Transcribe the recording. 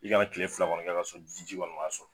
I kana kile fila kɔni kɛ ka sɔrɔ ji kɔni m'a sɔrɔ.